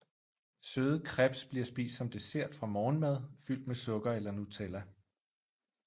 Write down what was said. Søde crêpes bliver spist som dessert og morgenmad fyldt med sukker eller Nutella